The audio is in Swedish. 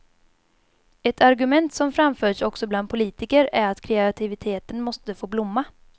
Ett argument som framförts också bland politiker är att kreativiteten måste få blomma.